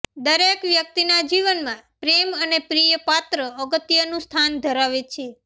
દરેક વ્યક્તિના જીવનમાં પ્રેમ અને પ્રિય પાત્ર અગત્યનું સ્થાન ધરાવે છે